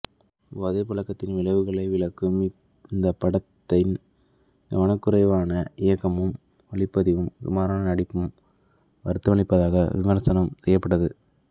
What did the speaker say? போதை பழக்கத்தின் விளைவுகளை விளக்கும் இந்தப் படத்தின் கவனக்குறைவாக இயக்கமும் ஒளிப்பதிவும் சுமாரான நடிப்பும் வருத்தமளிப்பதாக விமர்சனம் செய்யப்பட்டது